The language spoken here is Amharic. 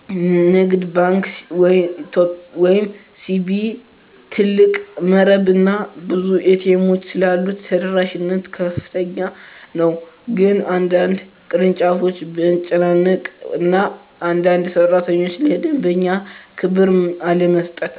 ንግድ ባንክ ኢትዮጵያ (CBE) ትልቅ መረብ እና ብዙ ኤ.ቲ. ኤሞች ስላሉት ተደራሽነት ከፍተኛ ነው፤ ግን በአንዳንድ ቅርንጫፎች መጨናነቅ እና አንዳንድ ሠራተኞች ለደንበኛ ክብር አለመስጠት